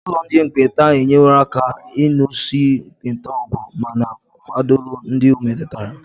Ụlọ ndị ekpenta enyeworo aka n'ịlụso ekpenta ọgụ ma na-akwado ndị ọ metụtara.